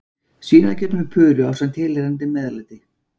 Svínakjöt með puru ásamt tilheyrandi meðlæti.